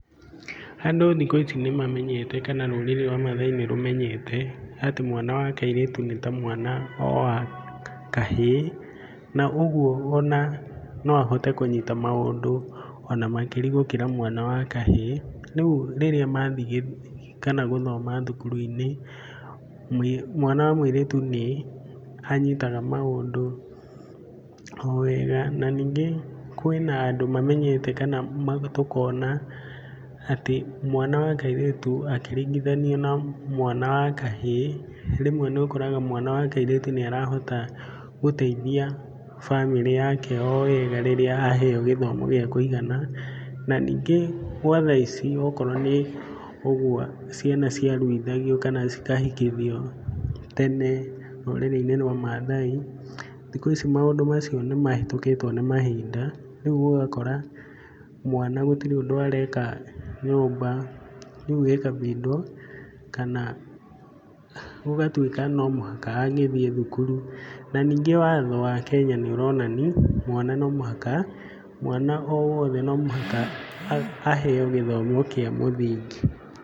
Andũ thikũ ici nĩ mamenyete kana rũrĩrĩ rwa Mathaai nĩ rũmenyete atĩ mwana wa kairĩtu nĩ ta mwana o wa kahĩĩ. Na ũguo ona no ahote kũnyta maũndũ on amakĩria gũkĩra mwana wa kahĩĩ. Rĩru rĩrĩa mathiĩ kana gũthoma thukuru-inĩ mwana wa kairĩtu nĩ anyitaga maũndũ o wega na ningĩ, kwĩna andũ mamenyete kana tũkona mwana wa kairĩtu akĩringithanio na mwana wa kahĩĩ, rĩmwe nĩ ũkoraga mwana wa kairĩtu nĩ arahota gũteitrhia bamĩrĩ yake o wega rĩrĩa aheo gĩthomo gĩa kũigana. Na ningĩ gwa thaa ici okorwo nĩ ũguo ciana ciaruithagio kana cikahikithio tene rũrĩrĩ-inĩ rwa Mathaai, thikũ ici maũndũ macio nĩ mahĩtũkĩtwo nĩ mahinda rĩu ũgakora mwana gũtirĩ ũndũ areka nyũmba. Rĩu ĩkambindwo kana gũgatuĩka no mũhaka angĩthiĩ thukuru, na ningĩ watho wa Kenya nĩ ũronania mwana no mũhaka, mwana o wothe no muhaka aheo gĩthomo kĩa mũthingi.